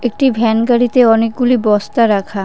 একটি ভ্যান গাড়িতে অনেকগুলি বস্তা রাখা।